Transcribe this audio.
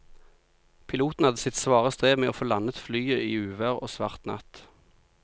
Piloten hadde sitt svare strev med å få landet flyet i uvær og svart natt.